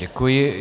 Děkuji.